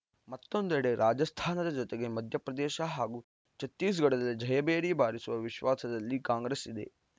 ಮತ್ತೊಂದೆಡೆ ರಾಜಸ್ಥಾನದ ಜೊತೆಗೆ ಮಧ್ಯಪ್ರದೇಶ ಹಾಗೂ ಛತ್ತೀಸ್‌ಗಢದಲ್ಲಿ ಜಯಭೇರಿ ಬಾರಿಸುವ ವಿಶ್ವಾಸದಲ್ಲಿ ಕಾಂಗ್ರೆಸ್‌ ಇದೆ